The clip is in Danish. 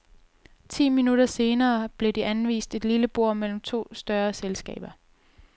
Ti minutter senere blev de anvist et lille bord mellem to større selskaber.